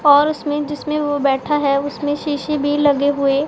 और उसमें जिसमें वो बैठा है उसमें शीशे भी लगे हुए--